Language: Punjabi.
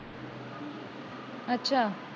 ਅੱਛਾ